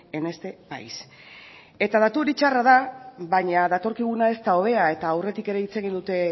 en este país eta datu hori txarra da baina datorkiguna ez da hobea eta aurretik ere hitz egin dute